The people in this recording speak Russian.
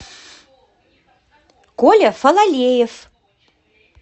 коля фалалеев